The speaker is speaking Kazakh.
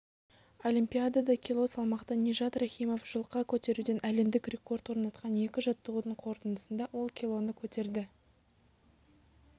олимпиадада кило салмақта нижат рахимов жұлқа көтеруден әлемдік рекорд орнатқан екі жаттығудың қорытындысында ол килоны көтерді